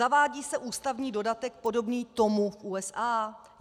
Zavádí se ústavní dodatek podobný tomu v USA?